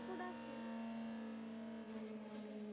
হতেই